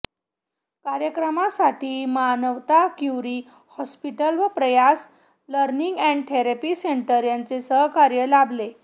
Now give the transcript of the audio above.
कार्यक्रमासाठी Manavata Curie hospital व Prayas learning and therapy centre यांचे सहकार्य लाभले